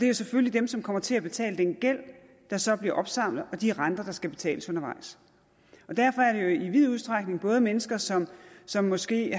jo selvfølgelig dem som kommer til at betale den gæld der så bliver opsamlet og de renter der skal betales undervejs og derfor er det jo i vid udstrækning både mennesker som som måske